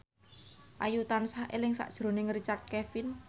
Ayu tansah eling sakjroning Richard Kevin